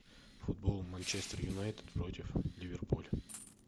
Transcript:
футбол манчестер юнайтед против ливерпуля